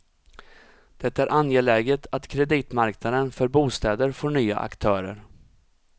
Det är angeläget att kreditmarknaden för bostäder får nya aktörer.